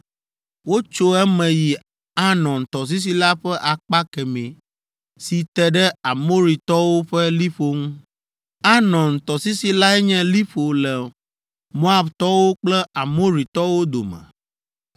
Wotso eme yi Arnon tɔsisi la ƒe akpa kemɛ si te ɖe Amoritɔwo ƒe liƒo ŋu. Arnon tɔsisi lae nye liƒo le Moabtɔwo kple Amoritɔwo dome.